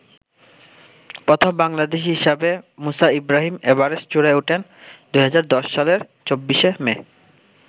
প্রথম বাংলাদেশী হিসাবে মুসা ইব্রাহিম এভারেস্ট চূড়ায় ওঠেন ২০১০ সালের ২৪শে মে।